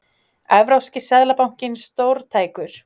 Evrópski seðlabankinn stórtækur